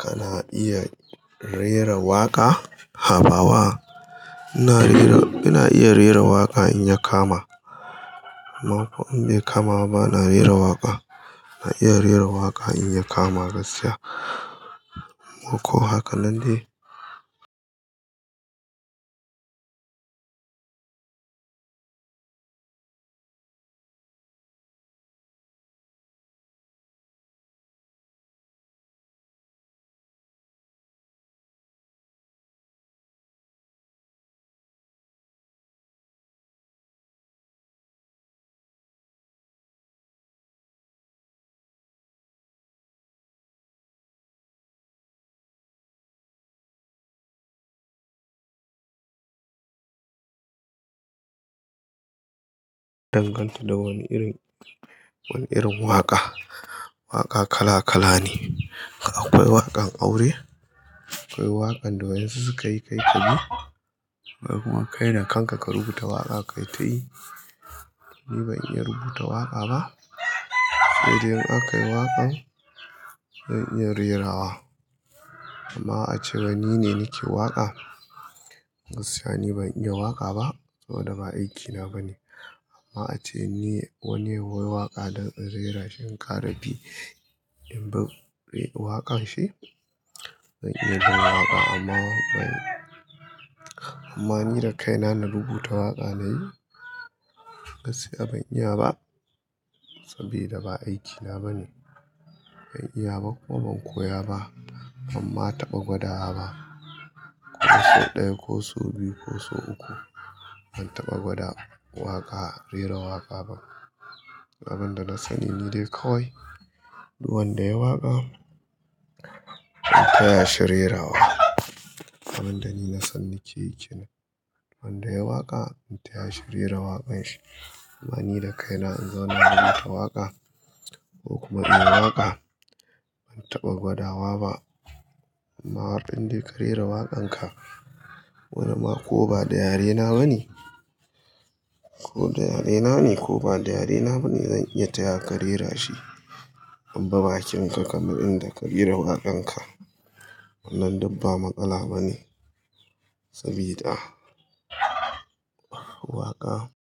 Kana iya rera waƙa? Habawa, ina iya rera waƙa in ya kama. Amma ko in bai kama ba bana rera waƙa. Ina iya rera waƙa in ya kama gaskiya. Ko haka nan dai. Danganta da wani irin, wani irin waƙa. Waƙa kala kala ne. Akwai waƙan aure, akwai waƙan da wayonsu suka yi kai ka yi. Ko kuma kai da kanka ka rubuta waƙa ka yi ta yi. Ni ban iya rubuta waƙa ba. In aka yi waƙan zan iya rera wa. Amma ace wai ni ne nake waƙa. Gaskiya ni ban iya waƙa ba. Saboda ba aikina ba ne. Amma ace ni wane ya waƙa don in rera shin ƙara bi in bibb waƙan shi. Ban iya bin waƙa amma wakan-- amma ni da kaina na rubuta waƙa na yi gaskiya ban iya ba. Saboda ba aikina ba ne. Ban iya ba kuma ban koya ba. Banma na taɓa gwada wa ba. Ko sau ɗaya ko sau biyu ko sau uku. Ban taɓa gwada waƙa, rera waƙa ba. Abin da na sani ni dai kawai duk wanda yayi waƙa, zan taya shi rera wa. Abin da ni na san nake yi shi ne wanda yayi waƙa zan taya shi rera waƙan shi. Amma ni da kaina in zauna rubuta waƙa ko kuma in yi waƙa ban taɓa gwada wa ba. Amma har in dai ka rera waƙan ka, wani ma ko ba da yarena ba ne ko da yarena ne ko ba da yarena ba ne zan iya taya ka rera shi. In bi bakinka kamar inda ka rera waƙan ka. Wannan dikba matsala ba ne. Sabida waƙa.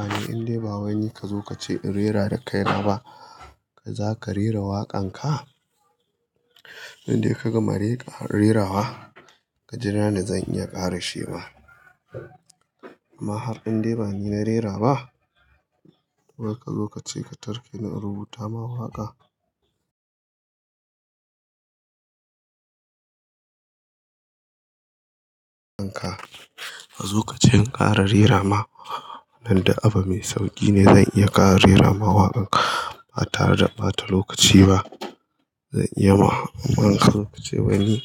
Amma in dai ba wani ka zo ka ce in rera da kaina ba, zaka rera waƙan ka? Indai ka gama rera wa, ka jira ni zan iya ƙare shi ma? Amma har in dai ba ni na rera ba, to wai kazo ka tarkeni in rubuta ma waƙa. Waƙan ka, ka zo ka ce in ƙara rera ma. Nan da abu mai sauƙi ne zan iya ƙara rera ma waƙan ka. Ba tare da ba ta lokaci ba zan iya ma. Amma in kazo kace waini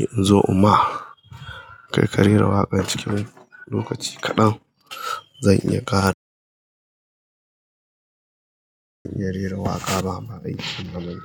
in zo imma kai ka rera waƙan cikin lokaci kaɗan, zan iya ƙara. Zan iya rera waƙa amma aiki na ba ni.